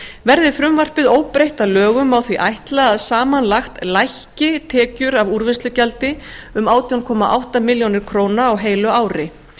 verði frumvarpið óbreytt að lögum má því ætla að samanlagt lækki tekjur af úrvinnslugjaldi um átján komma átta milljónir króna á heilu ári